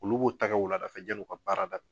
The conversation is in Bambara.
Olu b'u ta wulada fɛ yal'u ka baara